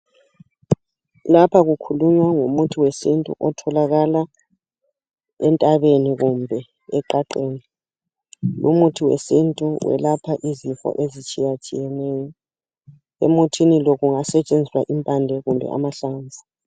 Lapha kukhulunywa ngomuthi wesintu otholakala entabeni kumbe eqaqeni lumuthi wesintu welapha izinto ezitshiya tshiyeneyo emuthini lo kungasetshenziswa impande kumbe amahlamvu .